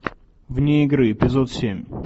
вне игры эпизод семь